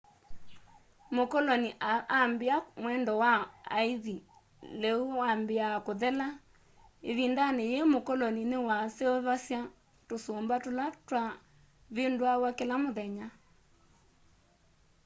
mũkolonĩ ambĩa mwendo wa aĩthĩ leũ wambĩa kũthela.ĩvĩndanĩ yĩĩ mũkolonĩ nĩwaseũvasya tũsũmba tũla twa vĩndũawa kĩla mũthenya